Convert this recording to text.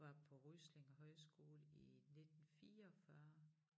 Var på Ryslinge højskole i 19 44